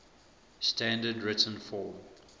standard written form